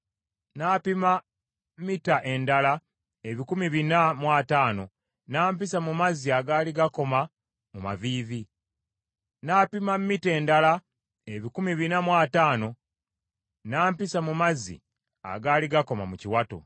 N’apima mita endala ebikumi bina mu ataano, n’ampisa mu mazzi agaali gankoma mu maviivi. N’apima mita endala ebikumi bina mu ataano, n’ampisa mu mazzi agaali gankoma mu kiwato.